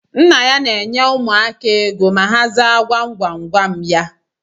Nna ya na enye ụmụaka égo ma ha zaa gwam gwam gwam ya